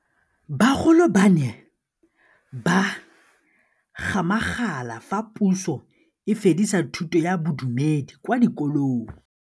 Bagolo ba ne ba gakgamala fa Pusô e fedisa thutô ya Bodumedi kwa dikolong.